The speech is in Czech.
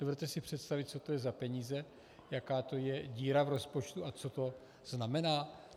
Dovedete si představit, co to je za peníze, jaká je to díra v rozpočtu a co to znamená?